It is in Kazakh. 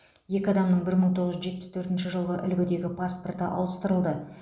екі адамның бір мың тоғыз жүз жетпіс төртінші жылғы үлгідегі паспорты ауыстырылды